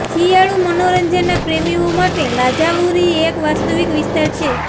શિયાળુ મનોરંજનના પ્રેમીઓ માટે લાજાવુરી એક વાસ્તવિક વિસ્તાર છે